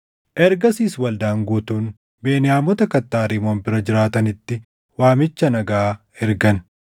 Ergasiis waldaan guutuun Beniyaamota kattaa Rimoon bira jiraatanitti waamicha nagaa ergan.